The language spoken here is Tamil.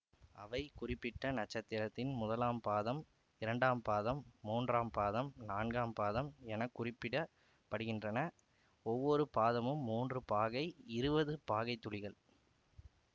அவை குறிப்பிட்ட நட்சத்திரத்தின் முதலாம் பாதம் இரண்டாம் பாதம் மூன்றாம் பாதம் நான்காம் பாதம் என குறிப்பிட படுகின்றனஒவ்வொரு பாதமும் மூன்று பாகை இருவது பாகைத்துளிகள்